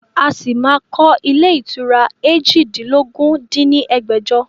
A ṣí máa kọ ilé ìtura eéjìdínlógún dín ní ẹgbẹ́jọ